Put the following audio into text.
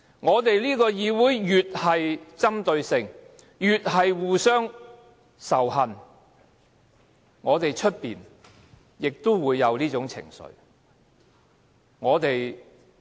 我們這個議會越具針對性，越是互相仇恨，外面也會出現這種情緒。